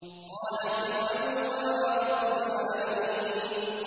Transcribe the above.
قَالَ فِرْعَوْنُ وَمَا رَبُّ الْعَالَمِينَ